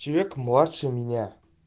человек младше меня